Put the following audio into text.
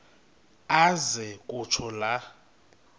aze kutsho la